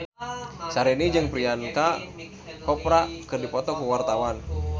Syahrini jeung Priyanka Chopra keur dipoto ku wartawan